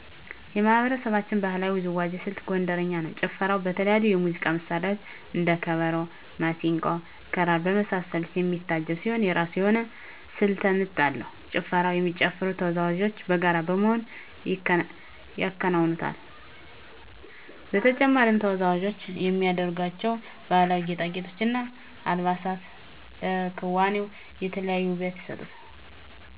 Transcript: የማህበረሰባችን ባህላዊ ውዝዋዜ ስልት ጎንደረኛ ነው። ጭፈራው በተለያዩ የሙዚቃ መሳሪያዎች እንደ ከበሮ፣ መሰንቆ፣ ክራር በመሳሰሉት የሚታጀብ ሲሆን የራሱ የሆነ ስልተ ምት አለው። ጭፈራውን የሚጨፍሩ ተወዛወዦች በጋራ በመሆን ይከውኑታል። በተጨማሪም ተወዛዋዞች የሚያደርጓቸው ባህላዊ ጌጣጌጦች እና አልባሳት ለክዋኔው የተለየ ውበት ይሰጡታል።